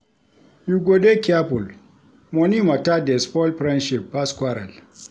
You go dey careful, money mata dey spoil friendship pass quarrel.